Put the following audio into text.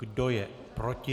Kdo je proti?